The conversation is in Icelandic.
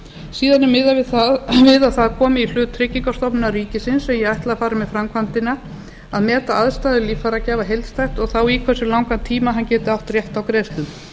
síðan er miðað við að það komi í hlut tryggingastofnunar ríkisins sem ég ætli að fari með framkvæmdina að meta aðstæður líffæragjafa heildstætt og þá í hversu langan tíma hann geti átt rétt á greiðslum